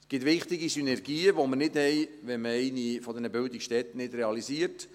Es gibt wichtige Synergien, die wir nicht haben, wenn man eine dieser Bildungsstätten nicht realisiert.